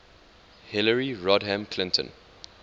hillary rodham clinton